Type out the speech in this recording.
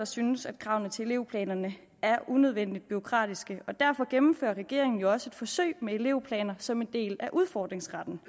synes kravene til elevplanerne er unødvendigt bureaukratiske derfor gennemfører regeringen jo også et forsøg med elevplaner som en del af udfordringsretten